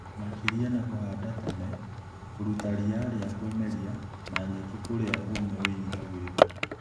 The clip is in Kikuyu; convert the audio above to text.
Makĩria na kũhanda tene, kũruta ria rĩa kwĩmeria na nyeki kũrĩa ũme wĩnyitagĩrĩra